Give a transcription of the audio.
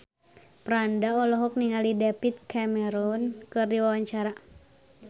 Franda olohok ningali David Cameron keur diwawancara